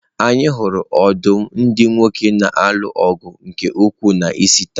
Anyị hụrụ ọdụm ndị nwoke na-alụ ọgụ nke ukwuu n'isi taa.